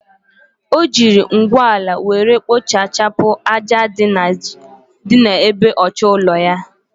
Ojiri Ngwuola were kpochapu cha aja di na ebe ochor ilu ulo.